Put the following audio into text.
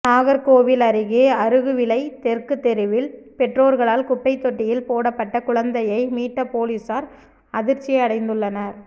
நாகர்கோவில் அருகே அருகுவிளை தெற்கு தெருவில் பெற்றோர்களால் குப்பை தொட்டியில் போடப்பட்ட குழந்தையை மீட்ட பொலிசார் அதிர்ச்சியடைந்துள்ளனர்